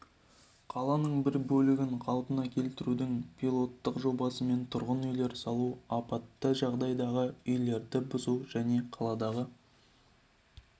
қаланың бір бөлігін қалпына келтірудің пилоттық жобасымен тұрғын үйлер салу апатты жағдайдағы үйлерді бұзу және қаладағы